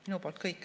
Minu poolt kõik.